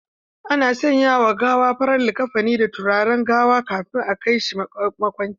Ana sanya ma gawa farar liƙafani da turaren gawa kafin a kai shi makwancin.